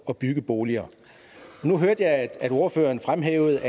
at bygge boliger nu hørte jeg at ordføreren fremhævede